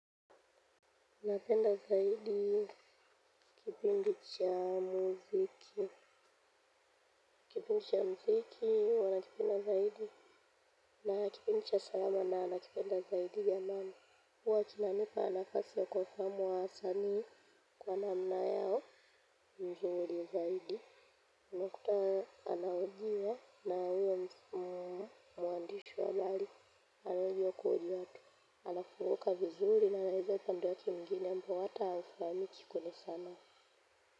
Napenda zaidi, kipigisha muziki, kipigisha muziki, huwa nakipenda zaidi, nakipigisha salama na nakipenda zaidi ya mama. Huwa kinanipa nafasi ya kuwafahamu wasanii kwa namna yao, vizuri zaidi. Unakuta anahojiwa na huyo mwandishi wa habari, anaongea ukweli wake, anafunguka vizuri na anaelezea upande wake mwingine ambao hata haufahamiki kwenye sanaa.